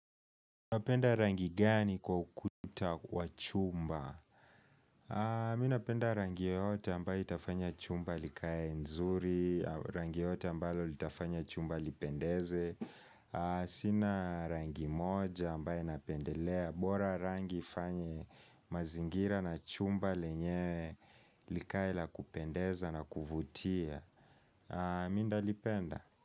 Minapenda rangi gani kwa ukuta wa chumba? Mimi napenda rangi yote ambayo itafanya chumba likaye nzuri, rangi yote ambayo itafanya chumba lipendeze. Sina rangi moja ambayo inapendelea. Bora rangi ifanye mazingira na chumba lenyewe likaye la kupendeza na kuvutia. Mimi nitalipenda?